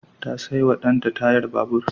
Ta saiwa danta tayar babur.